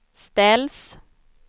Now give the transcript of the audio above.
ställs